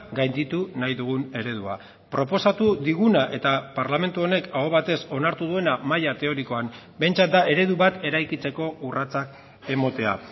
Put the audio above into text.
gainditu nahi dugun eredua proposatu diguna eta parlamentu honek aho batez onartu duena maila teorikoan behintzat da eredu bat eraikitzeko urratsak ematea